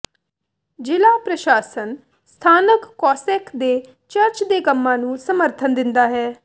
ਜ਼ਿਲ੍ਹਾ ਪ੍ਰਸ਼ਾਸਨ ਸਥਾਨਕ ਕੋਸੈਕ ਦੇ ਚਰਚ ਦੇ ਕੰਮਾਂ ਨੂੰ ਸਮਰਥਨ ਦਿੰਦਾ ਹੈ